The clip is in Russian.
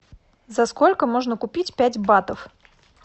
за сколько можно купить пять батов